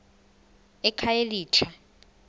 ekhayelitsha